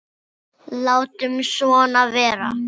Látum svona vera.